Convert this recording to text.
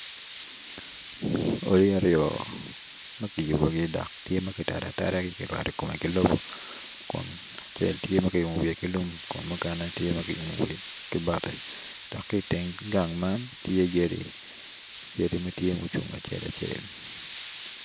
Odi aryo ma kiyubogi dok kirwado kome ki lobo kun acel tye ki umo wiye ki lum kun mukene tye ma kiumo i bati dok ki i teng gang man tye yadi.